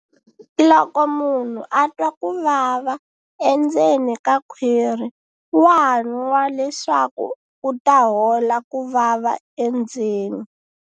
Loko munhu a twa ku vava endzeni ka khwiri wa nwa leswaku ku ta hola ku vava endzeni.